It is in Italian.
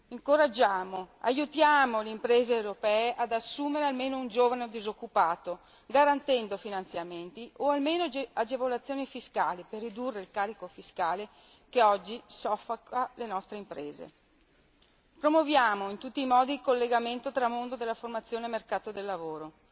Incoraggiamo ed aiutiamo le imprese europee ad assumere almeno un giovane disoccupato, garantendo finanziamenti o almeno agevolazioni fiscali per ridurre il carico fiscale che oggi soffoca le nostre imprese, promuoviamo in tutti i modi il collegamento tra mondo della formazione e mercato del lavoro.